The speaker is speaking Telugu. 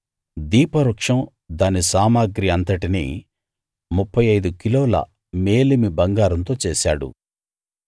దీపవృక్షం దాని సామగ్రి అంతటినీ 35 కిలోల మేలిమి బంగారంతో చేశాడు